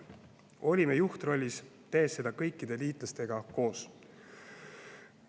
Olime juhtrollis, tehes seda kõikide liitlastega koos.